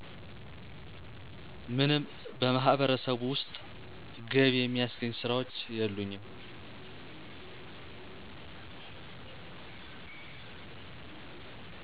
ምንም በማህበረሰቡ ውስጥ ገቢ የሚያስገኝ ስራዎች የሉኝም